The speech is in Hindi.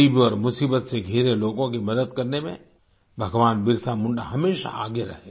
गरीब और मुसीबत से घिरे लोगों की मदद करने में भगवान बिरसा मुंडा हमेशा आगे रहे